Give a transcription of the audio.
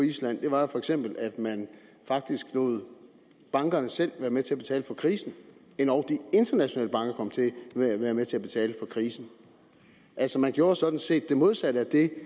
island for eksempel var at man faktisk lod bankerne selv være med til at betale for krisen endog de internationale banker kom til at være med til at betale for krisen altså man gjorde sådan set det modsatte af det